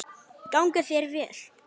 Gangi þér vel!